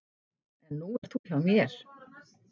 En nú ert þú hjá mér.